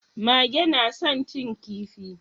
Mage na san cin kifi